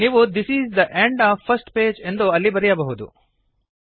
ನೀವು this is the end of first page ಎಂದು ಅಲ್ಲಿ ಬರೆಯಬಹುದು